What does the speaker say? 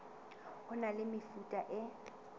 ho na le mefuta e